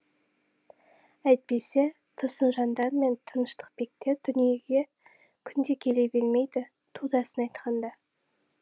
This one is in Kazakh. әйтпесе тұрсынжандар мен тыныштықбектер дүниеге күнде келе бермейді турасын айтқанда